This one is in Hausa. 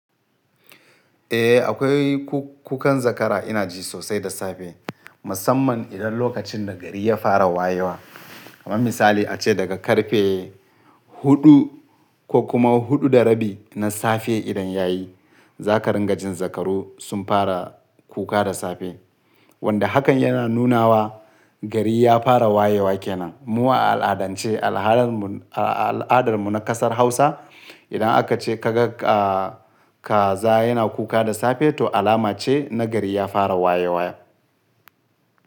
Eh akwai kukan zakara ina ji sosai da safe musamman idan lokacin da gari ya fara wayewa. Kaman misali ace daga karfe huɗu ko kuma huɗu da rabi na safe idan yayi za ka ringa jin zakaru sun fara kuka da safe. Wanda hakan yana nunawa gari ya fara wayewa kenan. Mu a al'adance al'adar mu na ƙasar Hausa idan aka ce ka ga kaza yana kuka da safe to alama ce na gari ya fara wayewa.